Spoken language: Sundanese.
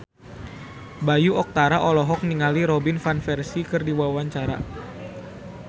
Bayu Octara olohok ningali Robin Van Persie keur diwawancara